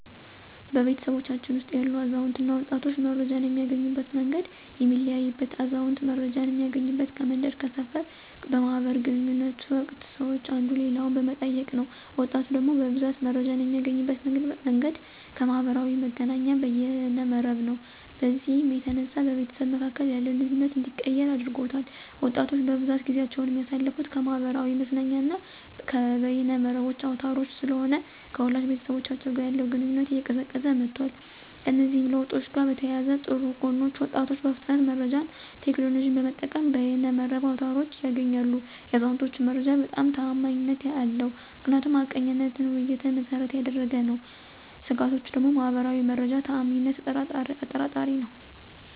በቤተሰባችን ውስጥ ያሉ አዛውንትና ወጣቶች መረጃን የሚያገኙበት መንገድ የሚለያይበት አዛውንት መረጃን እሚያገኙበት ከመንደር፥ ከሰፈር በማህበር ግንኙነት ወቅት ሰወች አንዱ ሌላኛውን በመጠየቅ ነው። ወጣቶች ደግሞ በብዛት መረጃን የሚያገኙበት መንገድ ከማህበራዊ መገናኛና በየነ መረብ ነው። በዚህም የተነሳ በቤተሰብ መካከል ያለውን ግንኙነት እንዲቀየር አድርጎታል። ወጣቶች በብዛት ጊዜአቸውን የሚያሳልፍት ከማህበራዊ መዝናኛና በየነ መረብ አውታሮች ስለሆነ ከወላጅ ቤተሰቦቻቸው ጋር ያለው ግንኙነት እየቀዘቀዘ መጧል። ከእነዚህ ለውጦች ጋር በተያያዘ ጥሩ ጎኖች ወጣቶች በፍጥነት መረጃን ቴክኖሎጅን በመጠቀም ከየነ መረብ አውታሮች ያገኛሉ። የአዛውንቶች መረጃ በጣም ተአማኒነት አለው ምክንያቱም ሀቀኝነትና ውይይትን መሰረት ያደረገ ነው። ስጋቶች ደግሞ ማህበር መረጃ ተአማኒነት አጠራጣሪ ነዉ።